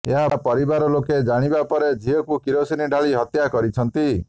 ଏହା ପରିବାର ଲୋକେ ଜାଣିବା ପରେ ଝିଅକୁ କିରୋସିନ ଢାଳି ହତ୍ୟା କରିଛନ୍ତି